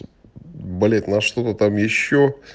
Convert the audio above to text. болит на что-то там ещё